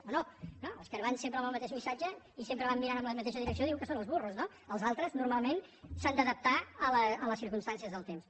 o no no els que van sempre amb el mateix missatge i sempre van mirant en la mateixa direcció diu que són els burros no els altres normalment s’han d’adaptar a les circumstàncies del temps